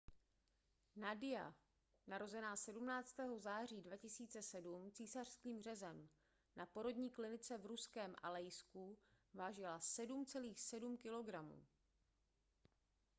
nadia narozená 17. září 2007 císařským řezem na porodní klinice v ruském alejsku vážila 7,7 kg